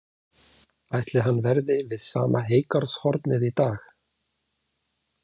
Ætli hann verði við sama heygarðshornið í dag?